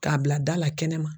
K'a bila da la kɛnɛma.